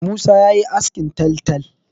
Musa ya yi askin taltal.